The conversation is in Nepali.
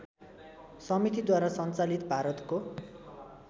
समितिद्वारा सञ्चालित भारतको